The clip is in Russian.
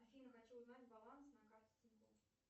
афина хочу узнать баланс на карте тинькофф